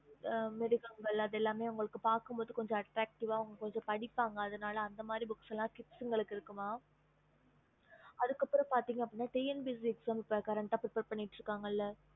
okey ம் சரிங்க mam